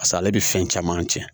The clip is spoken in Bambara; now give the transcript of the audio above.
Paseke ale bɛ fɛn caman tiɲɛ